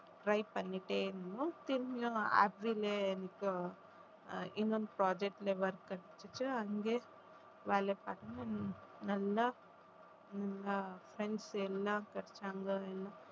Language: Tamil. try பண்ணிட்டே இருந்தோம் திரும்பியும் இன்னும் project ல work கிடைச்சிடுச்சி அங்க வேலை பண்ணனும் நல்லா friends எல்லாம் கிடைச்சாங்க